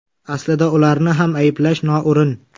Aslida ularni ham ayblash noo‘rin.